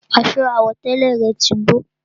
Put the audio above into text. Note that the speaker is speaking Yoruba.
Aṣọ àwọ̀tẹ́lẹ̀ rẹ̀ tí gbó